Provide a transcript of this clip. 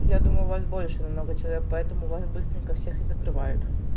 я думаю вас больше намного человек поэтому вас быстренько всех и закрывают